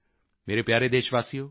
ਮੇਰੇ ਪਿਆਰੇ ਦੇਸ਼ਵਾਸੀਓ